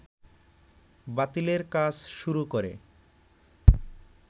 বাতিলের কাজ শুরু করে